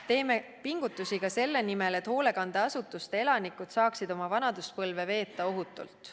Teeme pingutusi ka selle nimel, et hoolekandeasutuste elanikud saaksid oma vanaduspõlve veeta ohutult.